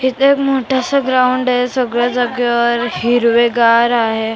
इथे मोठस ग्राउंड आहे सगळ्या जागेवर हिरवेगार आहे.